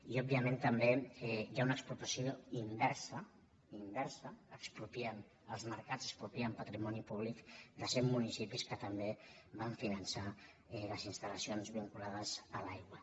i òbviament també hi ha una expropiació inversa inversa expropiem els mercats expropien patrimoni públic de cent municipis que també van finançar les instal·lacions vinculades a l’aigua